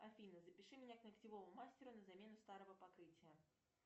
афина запиши меня к ногтевому мастеру на замену старого покрытия